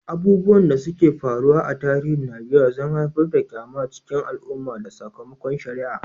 Abubuwan da suka faru a tarihin Najeriya sun haifar da ƙyama a cikin al'umma da sakamakon shari'a.